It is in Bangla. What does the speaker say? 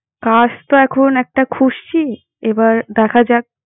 কাজ তো এখন একটা খুজ্জি। এবার দেখা যাক।